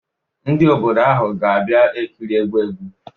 Ndị obodo ahụ ga-abịa ekiri egwu egwu